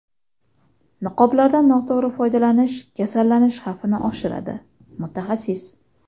Niqoblardan noto‘g‘ri foydalanish kasallanish xavfini oshiradi – mutaxassis.